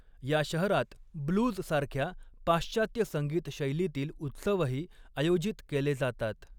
या शहरात ब्लूज सारख्या पाश्चात्य संगीत शैलीतील उत्सवही आयोजित केले जातात.